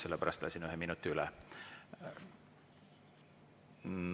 Sellepärast lasin ühe minuti üle.